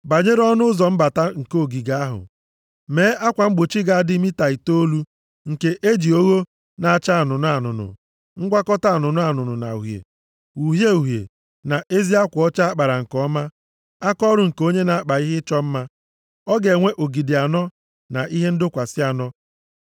“Banyere ọnụ ụzọ mbata nke ogige ahụ, mee akwa mgbochi ga-adị mita itoolu nke e ji ogho na-acha anụnụ anụnụ, ngwakọta anụnụ na uhie, uhie uhie na ezi akwa ọcha a kpara nke ọma, akaọrụ nke onye na-akpa ihe ịchọ mma. Ọ ga-enwe ogidi anọ na ihe ndọkwasị anọ.